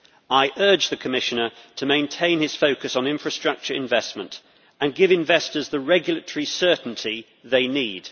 I urge the Commissioner to maintain his focus on infrastructure investment and give investors the regulatory certainty they need.